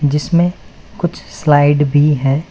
जिसमें कुछ स्लाइड भी हैं।